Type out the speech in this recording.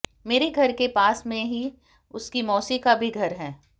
मेरे घर के पास में ही उसकी मौसी का भी घर है